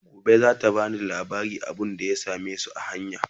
Gobe zata bani labarin abunda ya samesu a hanya